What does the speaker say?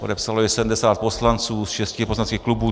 Podepsalo to 70 poslanců z šesti poslaneckých klubů.